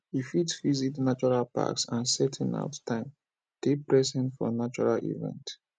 we fit visit natural packs and setting out time dey present for natural environment